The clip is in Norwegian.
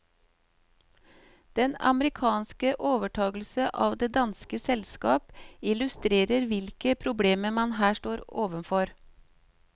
Den amerikanske overtagelse av det danske selskap illustrerer hvilke problemer man her står overfor.